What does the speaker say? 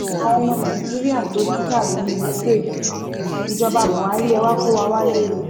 àwọn ọmọ nàìjíríà tó ń kàwé ní ukraine ìjọba buhari ẹ̀ wàá kó wa wálé o